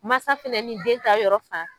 Mansa fana nin den ta yɔrɔ fan.